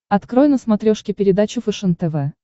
открой на смотрешке передачу фэшен тв